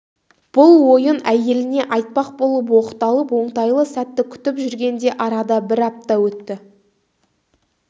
бұл ойын әйеліне айтпақ болып оқталып оңтайлы сәтті күтіп жүргенде арада бір апта өтті